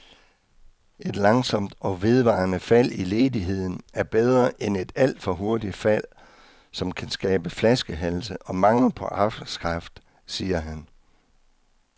Et langsomt og vedvarende fald i ledigheden er bedre end et alt for hurtigt fald, som kan skabe flaskehalse og mangel på arbejdskraft, siger han.